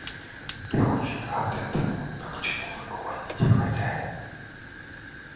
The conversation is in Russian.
я очень рад этому но к чему вы клоните хозяин